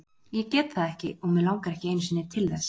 Ég get það ekki og mig langar ekki einu sinni til þess.